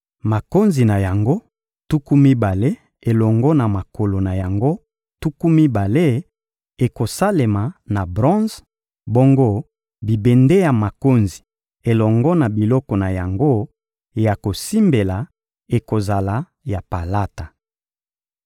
Makonzi na yango tuku mibale elongo na makolo na yango tuku mibale ekosalema na bronze; bongo bibende ya makonzi elongo na biloko na yango ya kosimbela ekozala ya palata.